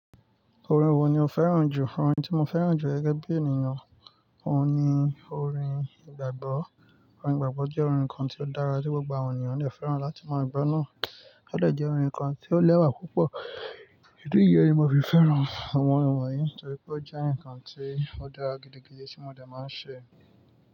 Orin wo ni o fẹ́ràn jù? Orin tí mo fẹ́ràn jù gẹ́gẹ́ bí ènìyàn ni orin ìgbàgbọ́. Orin ìgbàgbọ́ jẹ́ orin kan tí ó dára tí gbogbo ènìyàn lè fẹ́ràn láti máà gbọ́ náà. Ó dẹ̀ jẹ́ orin kan tí ó lẹ́wà púpọ̀. Ìdí ni yí ni mo fi fẹ́ràn àwọn orin wọ̀nyí, torí pé ó jẹ́ ǹkan tí ó dára gidi, gidi tí wọ́n dẹ̀ máa ń ṣe.